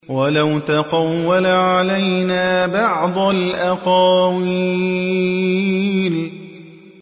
وَلَوْ تَقَوَّلَ عَلَيْنَا بَعْضَ الْأَقَاوِيلِ